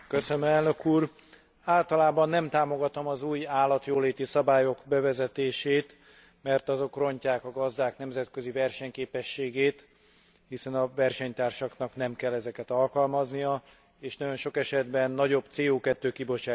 Általában nem támogatom az új állatjóléti szabályok bevezetését, mert azok rontják a gazdák nemzetközi versenyképességét, hiszen a versenytársaknak nem kell ezeket alkalmazniuk, és nagyon sok esetben nagyobb CO kibocsátáshoz is vezetnek.